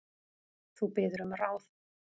Þú biður um ráð.